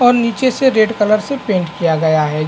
और नीचे से रेड कलर से पेंट किया गया है।